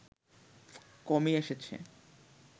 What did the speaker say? কমই এসেছে